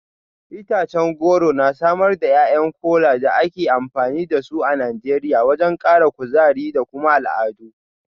Itacen goro na samar da ’ya’yan Kola da ake amfani da su a Najeriya wajen kara kuzari da kuma al’adu.